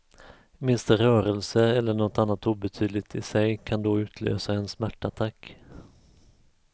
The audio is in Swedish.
Minsta rörelse eller något annat obetydligt i sig kan då utlösa en smärtattack.